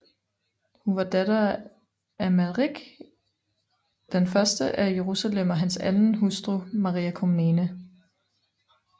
Hun var datter af Amalrik I af Jerusalem og hans anden hustru Maria Komnene